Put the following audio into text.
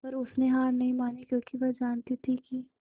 पर उसने हार नहीं मानी क्योंकि वह जानती थी कि